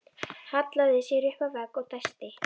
Hallaði sér upp að vegg og dæsti.